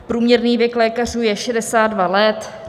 Průměrný věk lékařů je 62 let.